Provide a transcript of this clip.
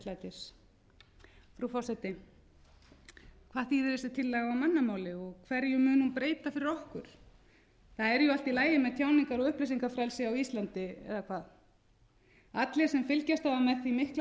frú forseti hvað þýðir þessi tillaga á mannamáli og hverju mun hún breyta fyrir okkur það er jú allt í lagi með tjáningar og upplýsingafrelsi á íslandi eða hvað allir sem fylgst hafa með því mikla